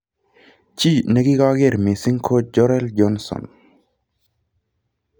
Chi nekikakeer missing ko Jorel Johnson.